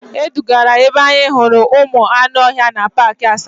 E dugara anyị ebe anyị hụrụ ụmụ anụ ọhịa na paakị Asaba.